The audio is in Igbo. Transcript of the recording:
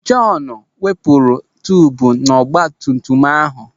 Jọn wepụrụ tubu nọ n'ọgbatumtum ahụ.